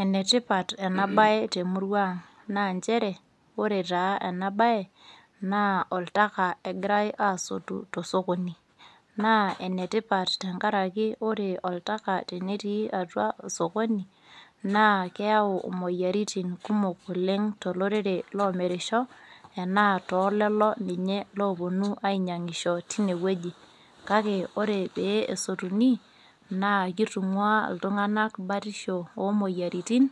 Ene tipat ena bae te murrua ang , aa nchere ore taa ena bae naa oltaka egirae asotu tosokoni. Naa ene tipat tenkaraki ore oltaka tenetii atua sokoni naa keyau imoyiaritin kumok oleng tolorere loo mirisho , enaa tolelo ninye loponu ainyangisho tine wueji .Kake ore pee esotuni naa kitungwaa iltunganak batisho oomoyiaritin